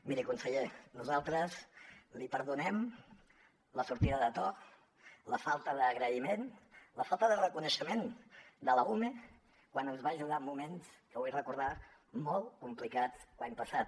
miri conseller nosaltres li perdonem la sortida de to la falta d’agraïment la falta de reconeixement de l’ume quan ens va ajudar en moments ho vull recordar molt complicats l’any passat